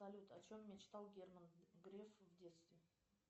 салют о чем мечтал герман греф в детстве